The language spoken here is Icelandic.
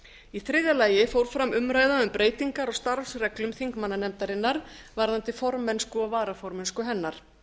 í þriðja lagi fór fram umræða um breytingar á starfsreglum þingmannanefndarinnar varðandi formennsku og varaformennsku hennar